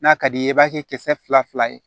N'a ka d'i ye i b'a kɛ kisɛ fila fila ye